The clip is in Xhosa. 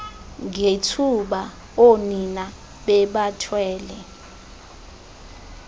ngethuba oonina bebathwele